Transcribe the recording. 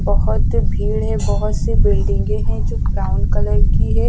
बहुत भीड़ है बहुत सी बिल्डिंगे हैं जो ब्राउन कलर की है।